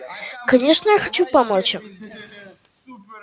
конечно я хочу помочь им